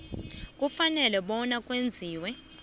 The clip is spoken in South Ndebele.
kufanele bona kwenziwe